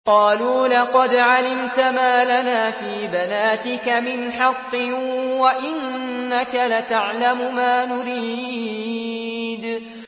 قَالُوا لَقَدْ عَلِمْتَ مَا لَنَا فِي بَنَاتِكَ مِنْ حَقٍّ وَإِنَّكَ لَتَعْلَمُ مَا نُرِيدُ